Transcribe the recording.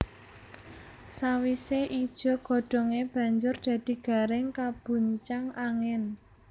Sawise ijo godhonge banjur dadi garing kabuncang angin